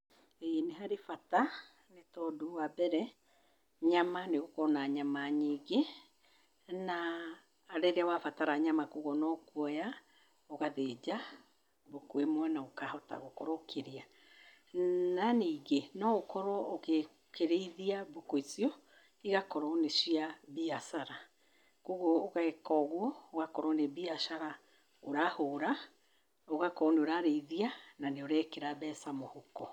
Ĩĩ nĩ harĩ bata, nĩ tondũ wa mbere; nyama nĩũgũkorwo na nyama nyingĩ, na rĩrĩa wabatara nyama koguo no kuoya ũgathĩnja mbũkũ imwe na ũkahota gũkorwo ũkĩrĩa. Na ningĩ, noũkorwo ũkĩrĩithia mbũkũ icio, igakorwo nĩ cia mbiacara. Koguo ũgeka ũguo, ũgakorwo nĩ mbiachara ũrahũra. Ũgakorwo nĩ ũrarĩithia na nĩ ũrekĩra mbeca mũhuko.